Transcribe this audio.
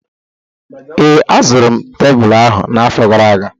Ee, azụrụ m tebụl ahụ na-afo gara aga